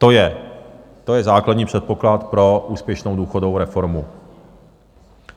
To je základní předpoklad pro úspěšnou důchodovou reformu.